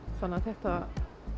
þannig að þetta